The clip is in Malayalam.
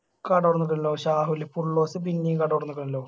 കട ശാഹുൽ ഇപ്പൊ ഉള്ളോടത് പിന്നയും കട തോർണിക്കണല്ലോ